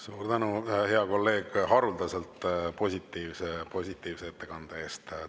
Suur tänu, hea kolleeg, haruldaselt positiivse ettekande eest!